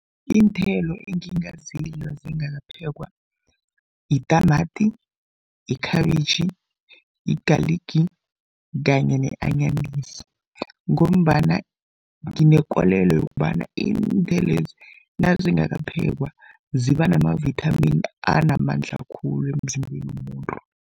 Iinthelo engingazidla zingakaphekwa yitamati, ikhabitjhi, yigaligi kanye ne-anyanisi. Ngombana nginekolelo yokobana iinthelo lezi nazingakaphekwa, ziba namavithamini anamandla khulu emzimbeni womuntu.